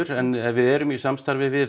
en við erum í samstarfi við